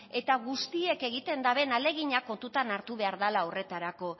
eta guztiek egiten daben ahalegina kontutan hartuta behar dela horretarako